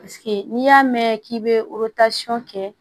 n'i y'a mɛn k'i bɛ kɛ